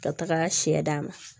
Ka taga sɛ d'a ma